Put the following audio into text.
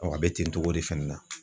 Ɔ a be ten togo de fɛnɛ na